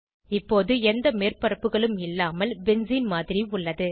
இப்போது எந்த மேற்பரப்புகளும் இல்லாமல் பென்சீன் மாதிரி உள்ளது